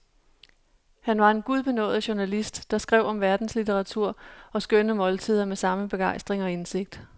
Han var en gudbenådet journalist, der skrev om verdenslitteratur og skønne måltider med samme begejstring og indsigt.